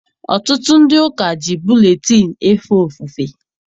Ọtụtụ ndị ụka ji buletịịnụ efe ofufe.